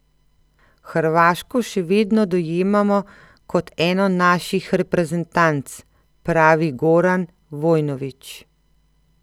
Hrvaško še vedno dojemamo kot eno naših reprezentanc, pravi Goran Vojnović.